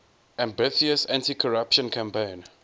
ambitious anticorruption campaign